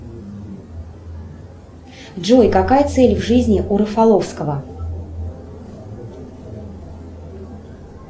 джой какая цель в жизни у рафаловского